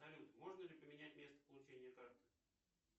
салют можно ли поменять место получения карты